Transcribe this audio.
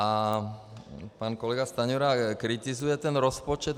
A pan kolega Stanjura kritizuje ten rozpočet.